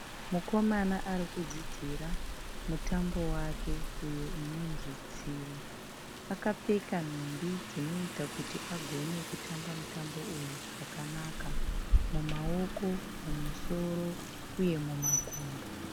Mukomana arikudzidzira mutambo wake uyo unonzi tsivo. Akapfeka nhumbi dzinoita kuti agone kutamba mutambo uyu zvakanaka. Mumaoko, mumusoro uye mumakumbo.